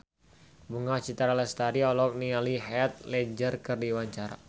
Bunga Citra Lestari olohok ningali Heath Ledger keur diwawancara